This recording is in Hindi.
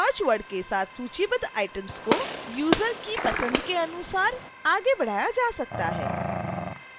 search word के साथ सूचीबद्ध items को यूजर की पसंद के अनुसार आगे बढ़ाया जा सकता है